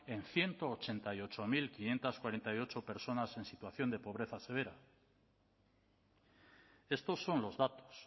en ciento ochenta y ocho mil quinientos cuarenta y ocho personas en situación de pobreza severa estos son los datos